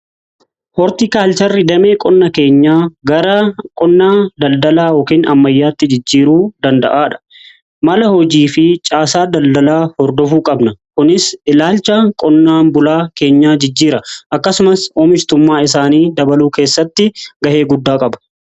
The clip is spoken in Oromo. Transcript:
Hortiikaalcharri damee qonnaa keenyaa gara qonnaa daldalaa yookiin ammayyaatti jijjiiruu danda'aadha mala hojii fi caasaa daldalaa hordofuu qabna kunis ilaalcha qonnaan bulaa keenyaa jijjiira akkasumas oomishtummaa isaanii dabaluu keessatti ga'ee guddaa qaba.